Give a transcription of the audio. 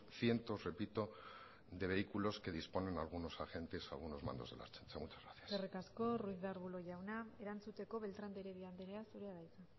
cientos repito de vehículos que disponen algunos agentes algunos mandos de la ertzaintza muchas gracias eskerrik asko ruiz de arbulo jauna erantzuteko beltrán de heredia andrea zurea da hitza